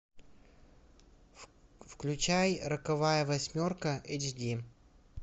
включай роковая восьмерка эйч ди